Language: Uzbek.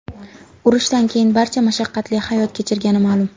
Urushdan keyin barcha mashaqqatli hayot kechirgani ma’lum.